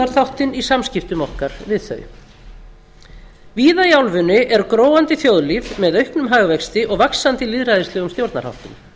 á aðstoðarþáttinn í samskiptum okkar við þau víða í álfunni er gróandi þjóðlíf með auknum hagvexti og vaxandi lýðræðislegum stjórnarháttum